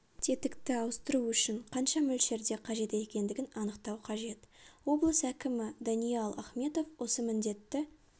тетікті ауыстыру үшін қанша мөлшерде қажет екендігін анықтау қажет облыс әкімі даниал ахметов осы міндетті